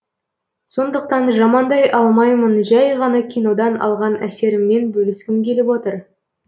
сондықтан жамандай алмаймын жәй ғана кинодан алған әсеріммен бөліскім келіп отыр